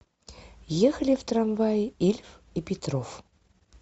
ехали в трамвае ильф и петров